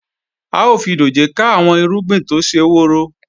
A ó fi dòjé ká àwọn irúgbìn tó ṣe woro